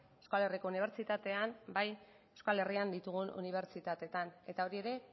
euskal herriko unibertsitatean bai euskal herrian ditugun unibertsitateetan eta hori ere